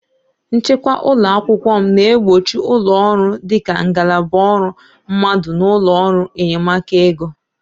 Nchịkwa ụlọ akwụkwọ m na-egbochi ụlọ ọrụ dị ka ngalaba ọrụ mmadụ na ụlọ ọrụ enyemaka ego.